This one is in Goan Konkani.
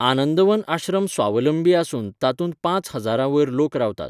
आनंदवन आश्रम स्वावलंबी आसून तातूंत पांच हजारां वयर लोक रावतात.